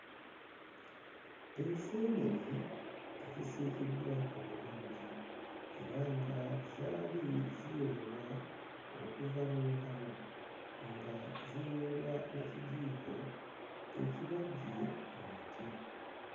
Enseenene ezisiikiddwa obulungi era nga zaali ziyoolwa okuva mu ntamu nga ziyoolwa na kijiiko ebibajje mu muti.